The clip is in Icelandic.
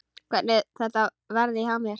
Hvernig þetta verði hjá mér.